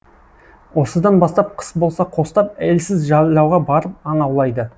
осыдан бастап қыс болса қостап елсіз жайлауға барып аң аулайды